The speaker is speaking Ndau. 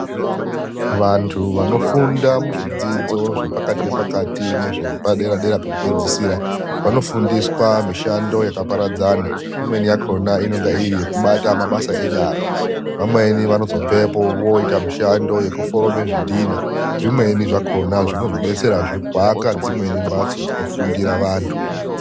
Vantu vanofunda muzvidzidzo zvepakati nepakati nezvepadera dera pekupedzisira, vanofundiswa mishando yakaparadzana, imweni yakona inenge iri yekubata mabasa enyara. Vamweni vanozobvepo voita mishando yekuforoma zvidhina zvimweni zvakhona zvinozodetserazve kuaka dzimweni mhatso dzinofundira vantu.